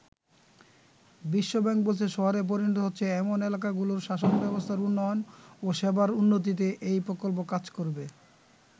বিশ্বব্যাংক বলছে, শহরে পরিণত হচ্ছে এমন এলাকাগুলোর শাসন ব্যবস্থার উন্নয়ন ও সেবার উন্নতিতে এই প্রকল্প কাজ করবে।